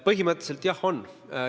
Põhimõtteliselt jah on.